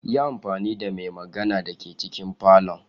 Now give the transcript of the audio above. Yi amfani da mai magana da ke cikin falon.